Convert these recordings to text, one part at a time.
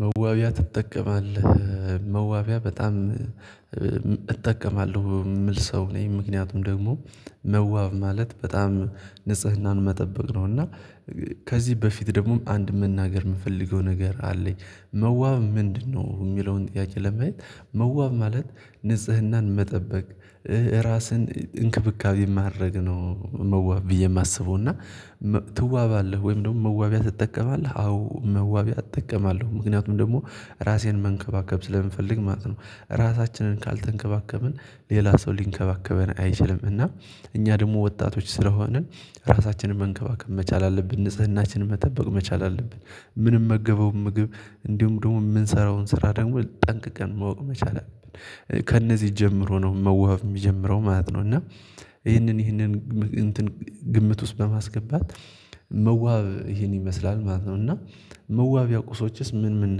መዋቢያ ትጠቀማለህ? መዋቢያ በጣም እጠቀማለሁ የምል ሰው ነኝ። ምክንያቱም ደግሞ መዋብ ማለት በጣም ንጽህናን መጠበቅ ነው። እና ከዚህ በፊት ደግሞ አንድ መናገር የምፈልገው ነገር አለኝ። መዋብ ምንድነው የሚለውን ጥያቄ ለማየት? መዋብ ማለት ንጽህናን መጠበቅ ራስን እንክብካቤ የማደርግ ነው። መዋብ ብዬ የማስበው። እና ትዋባለህ ወይም ደግሞ መዋቢያ ትጠቀማለህ? አዎ መዋቢያ እጠቀማለሁ ምክንያቱም ደግሞ ራሴን መንከባከብ ስለምንፈልግ ማለት ነው። ራሳችንን ካልተንከባከብን ሌላ ሰው ሊንከባከበን አይችልም። እና እኛ ደግሞ ወጣቶች ስለሆንን ራሳችንን መንከባከብ መቻል አለብን። ንጽህናችንን መጠበቅ መቻል አለብን። ምንመገበው ምግብ እንዲሁም ደግሞ የምንሰራውን ስራ ደግሞ ጠንቅቀን ማወቅ መቻል አለብን። ከእነዚህ ጀምሮ ነው መዋብ የሚጀምረው ማለት ነው። እና ይሄንን ይሄንን እንትን ግምት ውስጥ በማስገባት መዋብ ይሄን ይመስላል ማለት ነው። እና መዋቢያ ቁሶችስ ምን ምን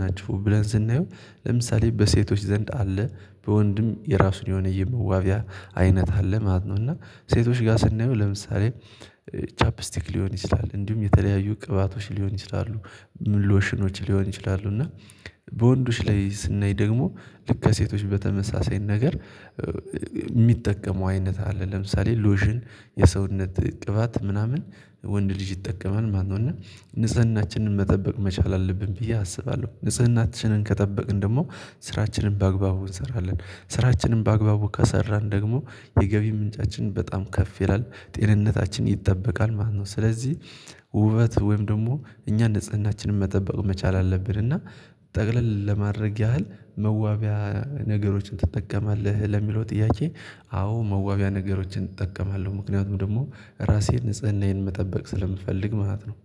ናችሁ? ብለን ስናየው ለምሳሌ በሴቶች ዘንድ አለ። በወንድም የራሱን የሆነው የመዋቢያ አይነት አለ ማለት ነው። እና ሴቶች ጋር ስናየው ለምሳሌ ቻፕስቲክ ሊሆን ይችላል እንዲሁም የተለያዩ ቅባቶች ሊሆን ይችላሉ። ልዎሽኖች ሊሆኑ ይችላሉ። እና በወንዶች ላይ ስናይ ደግሞ ልክ ከሴቶች በተመሳሳይ ነገር የሚጠቀሙ አይነት አለ። ለምሳሌ ሎሽን የሰውነት ቅባት ምናምን ወንድ ልጅ ይጠቀማል ማለት ነው። እና ንጽህናችንን መጠበቅ መቻል አለብን ብዬ አስባለው። ንጽህናችንን ከጠበቅን ደግሞ ስራችንን በአግባቡ እንሰራለን። ስራችንን በአግባቡ ከሰራን ደግሞ የገቢ ምንጫችን በጣም ከፍ ይላል ጤንነታችን ይጠበቃል ማለት ነው። ስለዚህ ውበት ወይም ደግሞ እኛ ንጽህናችንን መጠበቅ መቻል አለብን። እና ጠቅለል ለማድረግ ያህል መዋቢያ ነገሮችን ትጠቀማለህ ለሚለው ጥያቄ? አዎ መዋቢያ ነገሮችን እጠቀማለው ምክንያቱም ደግሞ ራሴን ንጽህናዬን መጠበቅ ስለምፈልግ ማለት ነው